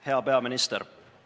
Hea peaminister!